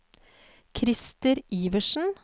Krister Iversen